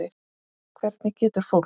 Hvernig getur fólk.